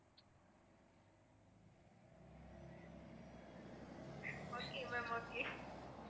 okay ma'am okay